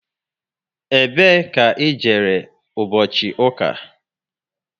Ebe ka i jere ụbọchị ụka?